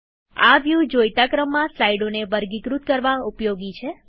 આ વ્યુ જોઈતા ક્રમમાં સ્લાઈડોને વર્ગીકૃત કરવા ઉપયોગી છે